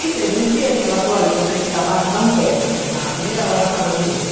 E teve um dia que ela falou, olha, eu comprei esse sapato, não quero, na na primeira loja da rua direita.